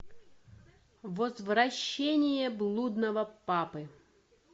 возвращение блудного папы